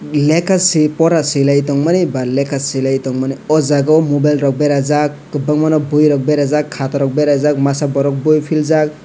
lekha swi pora swilai tongmani ba lekha swilai tongmani oh jaga o mobile rok berajak kwbangma boi rok berajak kbata rok berajak masa borok boi philjak.